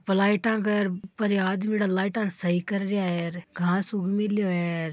लाईट के ऊपर ये आदमी लाईट ने सही कर रया है घास उग मिल्यो है र --